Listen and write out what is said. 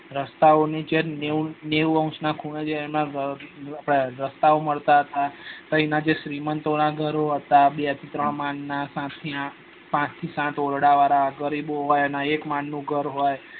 રસ્તા ઓ ની નેવું નેવું ના ખૂણા એ એમાં જે આપડે રસ્તા ઓ મળતા હતા એના જે શ્રી મંત જો ના ઘરો હતા બે ત્રણ માલ ના ના હતા સાત થી આંઠ ઓરડા વાર ગરીબો હોય એને એક માળ નું ઘર હોય